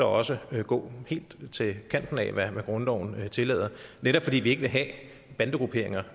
også gå helt til kanten af hvad grundloven tillader netop fordi vi ikke vil have bandegrupperinger